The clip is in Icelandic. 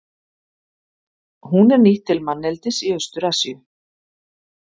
Hún er nýtt til manneldis í Austur-Asíu.